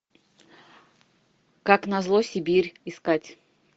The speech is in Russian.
как назло сибирь искать